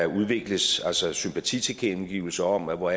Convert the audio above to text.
udvikles sympatitilkendegivelser om hvor